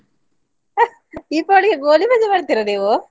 ದೀಪಾವಳಿಗೆ ಗೋಳಿಬಜೆ ಮಾಡ್ತೀರಾ ನೀವು?